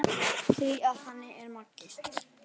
Því að þannig er Maggi.